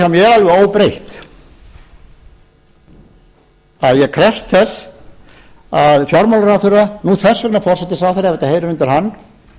alveg óbreytt að ég krefst að fjármálaráðherra nú þess vegna forsætisráðherra ef þetta heyrir undir hann